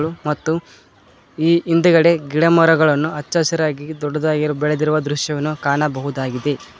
ಮತ್ತು ಈ ಹಿಂದೆಗಡೆ ಗಿಡ ಮರಗಳನ್ನು ಅಚ್ಚ ಹಸಿರಾಗಿ ದೊಡ್ಡದಾಗಿ ಬೆಳೆದಿರುವ ದೃಶ್ಯವನ್ನು ಕಾಣಬಹುದಾಗಿದೆ.